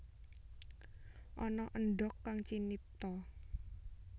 Ana endhog kang cinipta